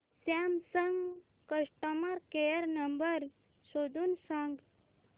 Samsung customer care number शोधून सांग